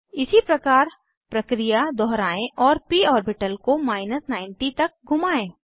इसी प्रकार प्रक्रिया दोहराएं और प ऑर्बिटल को 90 तक घुमाएं